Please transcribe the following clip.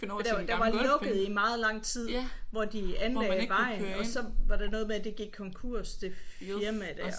Der var der var lukket i meget lang tid hvor de anlagde vejen og så var der noget med at det gik konkurs det firma der